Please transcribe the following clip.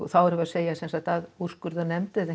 þá erum við að segja að úrskurðarnefnd eða